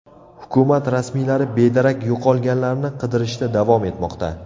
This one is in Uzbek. Hukumat rasmiylari bedarak yo‘qolganlarni qidirishda davom etmoqda.